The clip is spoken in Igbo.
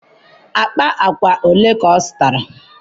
akpa agwa ole ka ọ zụtara?